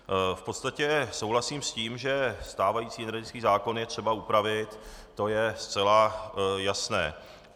V podstatě souhlasím s tím, že stávající energetický zákon je třeba upravit, to je zcela jasné.